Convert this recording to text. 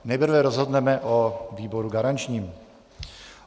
Nejprve rozhodneme o výboru garančním.